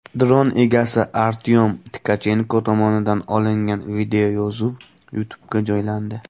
Dron egasi Artyom Tkachenko tomonidan olingan videoyozuv YouTube’ga joylandi.